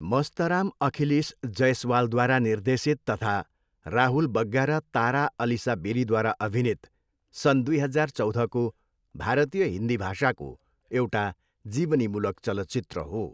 मस्तराम अखिलेश जैसवालद्वारा निर्देशित तथा राहुल बग्गा र तारा अलिसा बेरीद्वारा अभिनीत सन् दुई हजार चौधको भारतीय हिन्दी भाषाको एउटा जीवनीमूलक चलचित्र हो।